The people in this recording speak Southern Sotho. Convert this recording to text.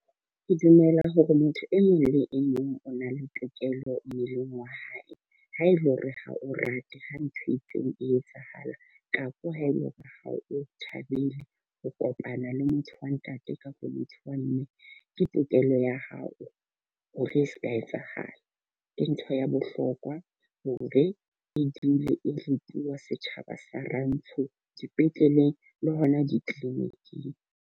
Ke dumela hore motho e mong le e mong o na le tokelo mmeleng wa hae. Ha e le hore ha o rate ha ntho e itseng e etsahalang kapo ha e le hore ha o thabele ho kopana le motho wa ntate kapo motho wa mme ke tokelo ya hao hore e se ka etsahala. Ke ntho ya bohlokwa hore e dule e setjhaba sa Rantsho dipetleleng le hona di-linic-ing.